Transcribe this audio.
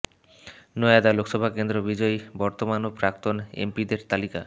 নয়াদা লোকসভা কেন্দ্র বিজয়ী বর্তমান ও প্রাক্তন এমপিদের তালিকা